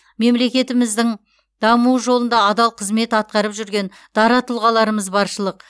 мемлекетіміздің дамуы жолында адал қызмет атқарып жүрген дара тұлғаларымыз баршылық